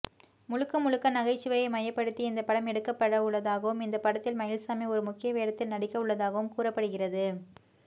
முழுக்க முழுக்க நகைச்சுவையை மையப்படுத்தி இந்த படம் எடுக்கப்படவுள்ளதாகவும் இந்த படத்தில் மயில்சாமி ஒரு முக்கிய வேடத்தில் நடிக்கவுள்ளதாகவும் கூறப்படுகிறது